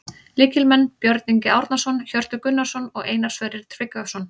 Lykilmenn: Björn Ingi Árnason, Hjörtur Gunnarsson og Einar Sverrir Tryggvason